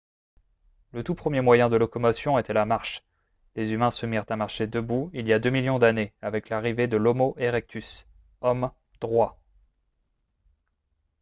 le tout premier moyen de locomotion était la marche : les humains se mirent à marcher debout il y a deux millions d'années avec l'arrivée de l'homo erectus « homme droit »